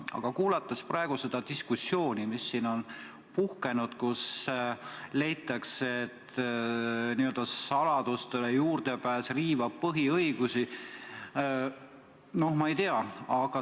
Aga kuulates praegu seda diskussiooni, mis siin on puhkenud, kus leitakse, et saladustele juurdepääs riivab põhiõigusi – no ma ei tea.